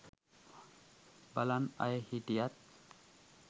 බලන් අය හිටියත්